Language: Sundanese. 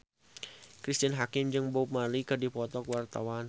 Cristine Hakim jeung Bob Marley keur dipoto ku wartawan